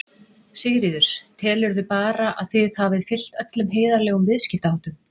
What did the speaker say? Sigríður: Telurðu bara að þið hafið fylgt öllum heiðarlegum viðskiptaháttum?